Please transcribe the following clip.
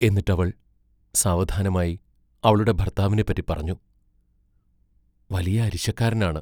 എന്നിട്ടവൾ സാവധാനമായി അവളുടെ ഭർത്താവിനെപ്പറ്റി പറഞ്ഞു: വലിയ അരിശക്കാരനാണ്.